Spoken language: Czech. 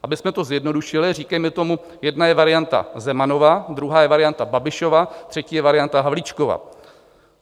Abychom to zjednodušili, říkejme tomu, jedna je varianta Zemanova, druhá je varianta Babišova, třetí je varianta Havlíčkova.